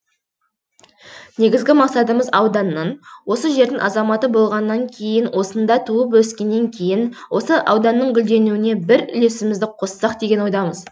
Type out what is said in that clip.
негізгі мақсатымыз ауданның осы жердің азаматы болғаннан кейін осында туып өскеннен кейін осы ауданның гүлденуіне бір үлесімізді қоссақ деген ойдамыз